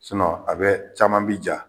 a bɛ caman bi ja